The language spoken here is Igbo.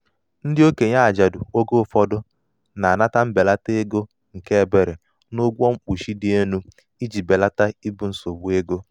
ndị okenye ajadu oge ụfọdụ na-anata mbelata ego nke ebere n'ụgwọ mkpuchi dị elu iji belata ibu nsogbu ego.